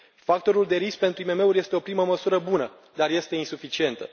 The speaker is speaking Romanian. Factorul de risc pentru IMM uri este o primă măsură bună, dar este insuficientă.